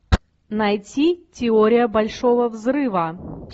найти теория большого взрыва